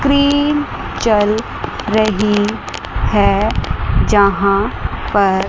चल रही है जहां पर--